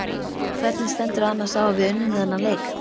Hvernig stendur annars á að við unnum þennan leik?